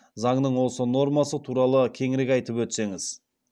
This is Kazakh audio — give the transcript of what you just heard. заңның осы нормасы туралы кеңірек айтып өтсеңіз